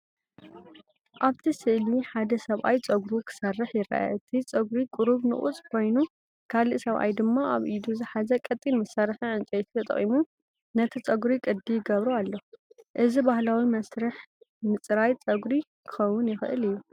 ኣብቲ ስእሊ ሓደ ሰብኣይ ጸጉሩ ክሰርሕ ይርአ። እቲ ጸጉሪ ቁሩብ ንቑጽ ኮይኑ፡ ካልእ ሰብኣይ ድማ ኣብ ኢዱ ዝሓዘ ቀጢን መሳርሒ ዕንጨይቲ ተጠቒሙ ነቲ ጸጉሪ ቅዲ ይገብሮ ኣሎ። እዚ ባህላዊ መስርሕ ምጽራይ ጸጉሪ ክኸውን ይኽእል እዩ።